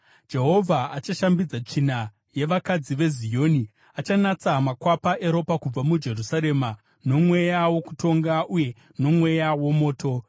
Jehovha achashambidza tsvina yevakadzi veZioni; achanatsa makwapa eropa kubva muJerusarema nomweya wokutonga uye nomweya womoto.